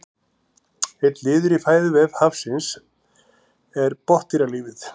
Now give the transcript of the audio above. einn liður í fæðuvef hafsins er botndýralífið